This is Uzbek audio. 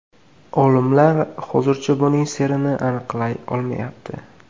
Olimlar hozircha buning sirini aniqlay olmayapti.